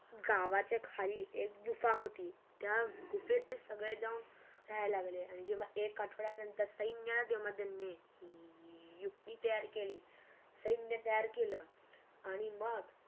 गावाच्या खली एक गुफा होती त्या गुफेत ते सगळे जाऊन राहाय लागली आणि एक आठवडा नंतर सैन्य अधून मधून मिळे युक्ति तयार केली सैन्य तयार केल आणि मग